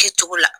Kɛ cogo la